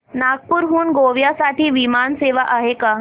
नागपूर हून गोव्या साठी विमान सेवा आहे का